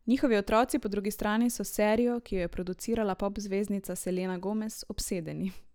Njihovi otroci, po drugi strani, so s serijo, ki jo je producirala pop zvezdnica Selena Gomez, obsedeni.